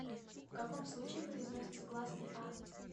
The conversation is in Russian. в каком случае произносится гласный а